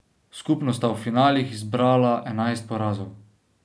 Skupno sta v finalih zbrala enajst porazov.